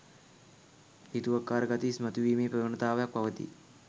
හිතුවක්කාර ගති ඉස්මතුවීමේ ප්‍රවනතාවයක් පවතී.